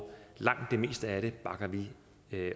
langt det meste af det bakker vi